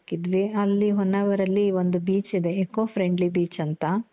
ಹಾಕಿದ್ವಿ. ಅಲ್ಲಿ ಹೊನ್ನಾವರ್ ಅಲ್ಲಿ ಒಂದು beech ಇದೆ. eco friendly beach ಅಂತ .